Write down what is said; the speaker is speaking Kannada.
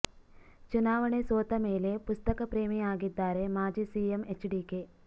ಚುನಾವಣೆ ಸೋತ ಮೇಲೆ ಪುಸ್ತಕ ಪ್ರೇಮಿ ಆಗಿದ್ದಾರೆ ಮಾಜಿ ಸಿಎಂ ಎಚ್ಡಿಕೆ